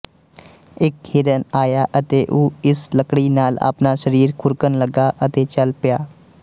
ਇੱਕ ਹਿਰਨ ਆਇਆ ਅਤੇ ਉਹ ਇਸ ਲੱਕੜੀ ਨਾਲ ਆਪਣਾ ਸਰੀਰ ਖੁਰਕਣ ਲੱਗਾ ਅਤੇ ਚੱਲ ਪਿਆ